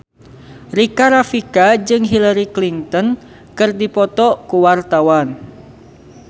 Rika Rafika jeung Hillary Clinton keur dipoto ku wartawan